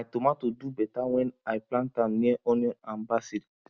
my tomato do better when i plant am near onion and basil